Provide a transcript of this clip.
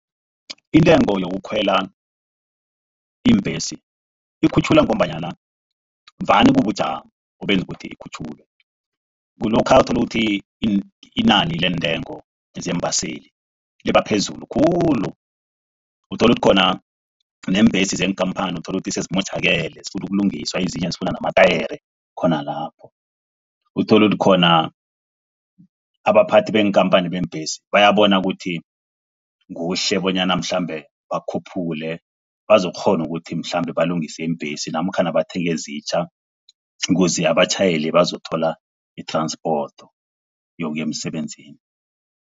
Intengo yokukhwela iimbhesi ikhutjhulwa ngombana vane kubujamo obenze ukuthi ikhutjhulwe. Kulokha uthola ukuthi inani lentengo zeembaseli liba phezulu khulu. Uthola ukuthi khona neembhesi, neenkhamphani uthola ukuthi sezimotjhakele zifuna ukulungiswa. Ezinye sezifuna amatayere khona lapho. Uthole ukuthi khona abaphathi beenkhamphani zeembhesi bayabona ukuthi kuhle bonyana mhlambe bakhuphule bazokukghona ukuthi mhlambe balungise iimbhesi namkhana bathenge ezitjha. Ukuze abatjhayeli bazokuthola i-transport yokuya emsebenzini.